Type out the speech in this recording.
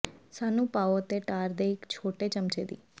ਸਾਨੂੰ ਪਾਉ ਅਤੇ ਟਾਰ ਦੇ ਇੱਕ ਛੋਟੇ ਚਮਚੇ ਦੀ